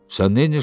Sən neylirsən?